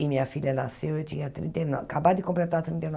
E minha filha nasceu, eu tinha trinta e nove, acabado de completar trinta e